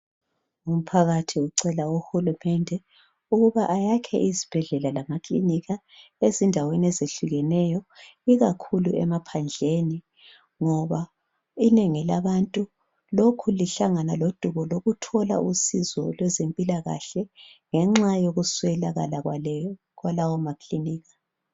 umphakathi ucela uhulumende ukuba ayakhe izibhedlela lamakilinika ezindaweni ezehlukeneyo ikakhulu emaphandleni ngoba inengi labantu lokhu lihlangana lodubo lokuthola usizo lwezempilakahle ngenxa yokuswelakala kwalawo makilinika